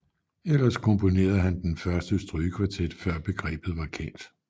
Ellers komponerede han den første strygekvartet før begrebet var kendt